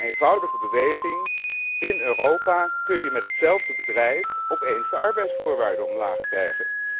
Door een eenvoudige beweging in Europa kun je met hetzelfde bedrijf opeens de arbeidsvoorwaarden omlaag krijgen.